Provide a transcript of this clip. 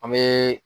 An bɛ